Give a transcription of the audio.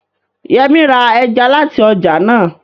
Yẹmí ra ẹja láti ọjà náà